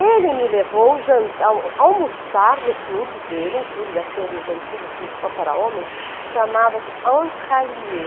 Ele me levou jan al almoçar no clube dele, um clube daqueles antigos clubes só para homens, chamava-se Entralier.